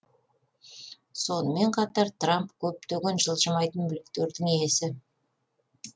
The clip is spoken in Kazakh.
сонымен қатар трамп көптеген жылжымайтын мүліктердің иесі